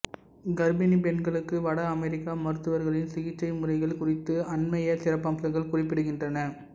கர்ப்பிணிப் பெண்களுக்கு வட அமெரிக்க மருத்துவர்களின் சிகிச்சை முறைகள் குறித்து அண்மைய சிறப்பம்சங்கள் குறிப்பிடுகின்றன